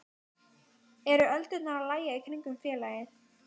Er öldurnar að lægja í kringum félagið?